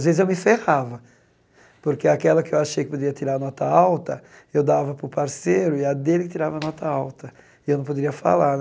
Às vezes, eu me ferrava, porque aquela que achei que poderia tirar nota alta, eu dava para o parceiro e a dele que tirava nota alta, e eu não poderia falar.